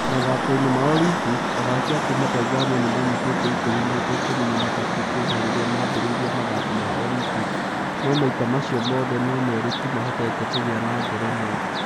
Mathako-inĩ ma Olimpiki, athaki a kuuma Tanzania nĩ maanyitĩte itemi maita ikũmi na matatũ kuuma rĩrĩa maambĩrĩirie mathako ma Olympics, no maita macio mothe no merĩ tu mahotire kũgĩa na ngerenwa.